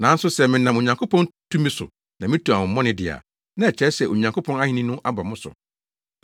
Nanso sɛ menam Onyankopɔn tumi so na mitu honhommɔne de a, na ɛkyerɛ sɛ Onyankopɔn ahenni no aba mo so.